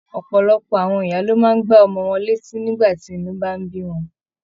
Ọpọlọpọ àwọn ìyá ló máa n gbà ọmọ wọn létí nígbà tí inú bá n bí wọn.